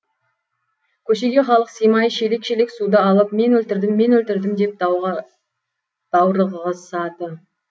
көшеге халық сыймай шелек шелек суды алып мен өлтірдім мен өлтірдім деп даурығысады